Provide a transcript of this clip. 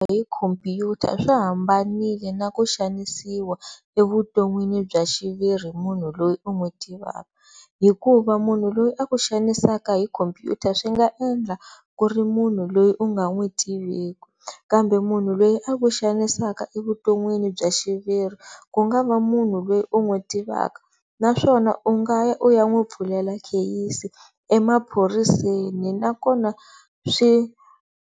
Hi khomphyuta swi hambanile na ku xanisiwa evuton'wini bya xiviri hi munhu loyi u n'wi tivaka hikuva munhu loyi a ku xanisaka hi khomphyuta swi nga endla ku ri munhu loyi u nga n'wi tiviki kambe munhu loyi a ku xanisaka evutonwini bya xiviri ku nga va munhu loyi u n'wi tivaka naswona u nga ya u ya n'wi pfulela kheyisi emaphoriseni nakona swi.